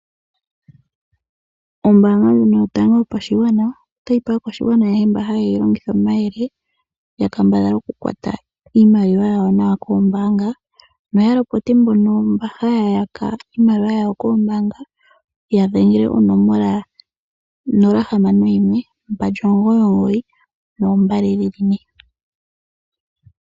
Ombaanga ndjino yotango yopashigwana otayi pe aakwashigwana ayehe mba haye yi longitha omayele, ya kambadhale oku kwata iimaliwa yawo nawa koombaanga noya lopote mbono haya yaka iimaliwa yawo koombaanga, ya dhengele onomola 0612992222.